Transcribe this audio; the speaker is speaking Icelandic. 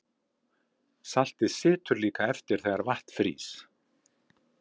saltið situr líka eftir þegar vatn frýs